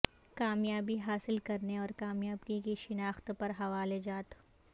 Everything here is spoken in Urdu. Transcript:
کامیابی حاصل کرنے اور کامیابی کی شناخت پر حوالہ جات